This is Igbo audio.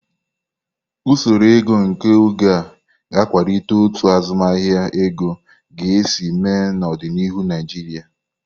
Usoro ego nke oge a, ga akwalite otu azụmahịa ego ga-esi mee n'ọdịnihu Naijiria.